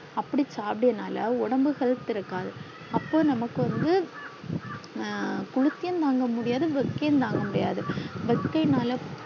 அப்டி சாப்டையனலா ஒடம்பு health இருகாது அப்போ நமக்கு வந்து குளிக்க தாங்க முடியாது வெக்கை தாங்க முடியாத வெக்கை நாளா